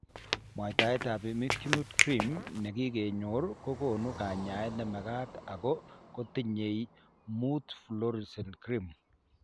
Mwaitab imiquimod cream nekokenyor ko konu kanyaet nemagat ak kotinye 5 fluorouracil cream.